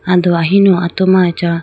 ando ahinu atu ma acha.